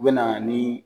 U bɛ na ni